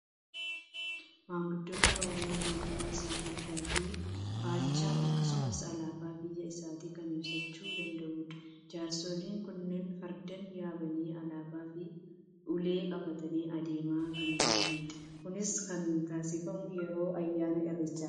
Maanguddoon Oromoo gootummaa isaa fardaa fi faachaan akkasumas alaabaa biyya isaatiin kan ibsachuu danda'udha. Jaarsoliin kunneen fardeen yaabanii alaabaa fi ulee qabatanii adeemaa kan jiranidha. Kunis kan taasifamu yeroo ayyaana Irreechaattidha.